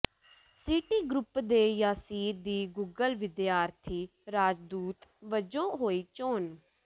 ਸੀਟੀ group ਦੇ ਯਾਸਿਰ ਦੀ Google ਵਿਦਿਆਰਥੀ ਰਾਜਦੂਤ ਵਜੋਂ ਹੋਈ ਚੋਣ